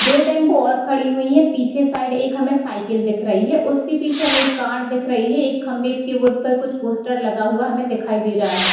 दो टेम्पू और खड़ी हुई हैं पीछे साइड एक हमें साइकिल दिख रही है उसके पीछे हमें एक कार दिख रही है एक खम्बे के बोर्ड पर कुछ पोस्टर लगा हुआ हमें दिखाई दे रहा है।